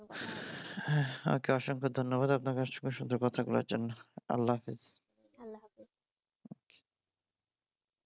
হ্যাঁ ওকে অসংখ্যা ধন্যবাদ আপনাকে সুন্দর কথা গুলোর জন্য আল্লাহ হাফেজ।